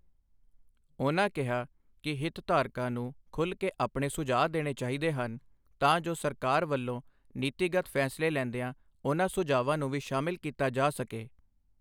ਉਨ੍ਹਾਂ ਕਿਹਾ ਕਿ ਹਿਤਧਾਰਕਾਂ ਨੂੰ ਖੁਲ੍ਹ ਕੇ ਆਪਣੇ ਸੁਝਾਅ ਦੇਣੇ ਚਾਹੀਦੇ ਹਨ ਤਾਂ ਜੋ ਸਰਕਾਰ ਵੱਲੋਂ ਨੀਤੀਗਤ ਫੈਸਲੇ ਲੈਂਦਿਆਂ ਇਨ੍ਹਾਂ ਸੁਝਾਵਾਂ ਨੂੰ ਵੀ ਸ਼ਾਮਲ ਕੀਤਾ ਜਾ ਸਕੇ।